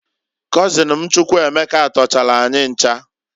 Kọzịn m Chukwuemeka tọchalụ anyị ncha.